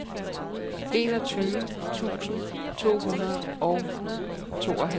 enogtyve tusind to hundrede og tooghalvtreds